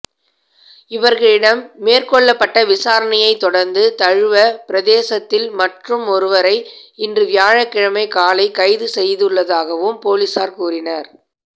இவர்களிடம் மேற்கொள்ளப்பட்ட விசாரணையைத் தொடர்ந்து தழுவ பிரதேசத்தில் மற்றுமொருவரை இன்று வியாழக்கிழமை காலை கைதுசெய்துள்ளதாகவும பொலிஸார் கூறினர்